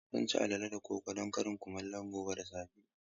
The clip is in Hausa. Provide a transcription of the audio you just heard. Zan ci alale da koko don karin kumallo gobe da safe.